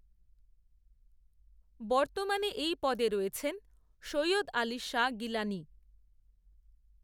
বর্তমানে এই পদে রয়েছেন, সৈয়দ আলি শাহ গিলানি